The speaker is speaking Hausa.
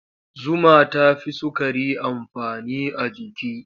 Zuma ta fi sukari amfani a jiki.